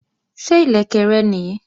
Ṣé ìlẹ̀kẹ̀ rẹ nìí?